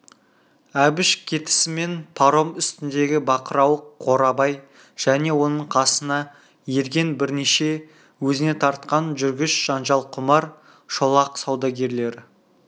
әбіш кетісімен паром үстіндегі бақырауық қорабай және оның қасына ерген бірнеше өзіне тартқан жүргіш жанжалқұмар шолақ саудагерлері